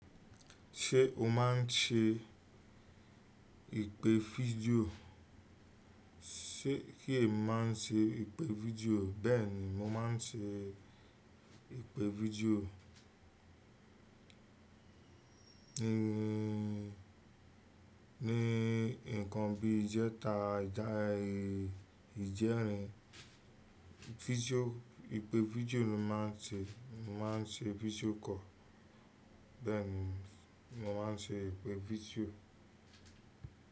Ṣé o má n ṣe ìpè fídíò? Ṣé kí èmi má n ṣe ìpè fídíò, bẹ́ẹ̀ni mo má n ṣe ìpè fídíò. Nìí nìí ǹkan bí ìjẹta ìjẹrin fitio, ìpè fídíò ni mo máa ń ṣe mo máa ń ṣe fitio call bẹ́ẹ̀ni, mo máa ń ṣe ìpè fitio.